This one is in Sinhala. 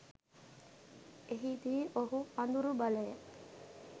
එහිදී ඔහු අඳුරු බලය